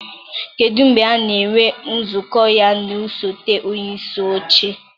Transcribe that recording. kedụ mgbe a na-enwe nzukọ ya na osote onyeisi oche?